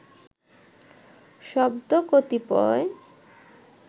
শব্দ কতিপয়